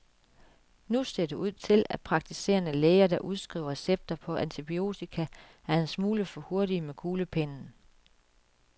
Nu ser det ud til, at praktiserende læger, der udskriver recepterne på antibiotika, er en smule for hurtige med kuglepennen.